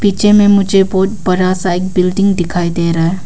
पीछे में मुझे बहुत बड़ा सा एक बिल्डिंग दिखाई दे रहा है।